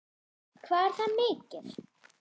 Hvað er það mikið?